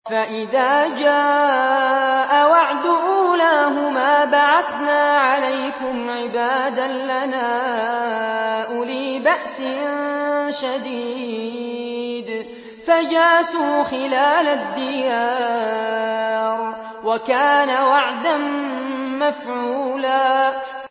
فَإِذَا جَاءَ وَعْدُ أُولَاهُمَا بَعَثْنَا عَلَيْكُمْ عِبَادًا لَّنَا أُولِي بَأْسٍ شَدِيدٍ فَجَاسُوا خِلَالَ الدِّيَارِ ۚ وَكَانَ وَعْدًا مَّفْعُولًا